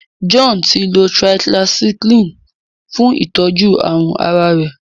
John tí lọ tetracycline fún itọjú àrùn àrà rẹ.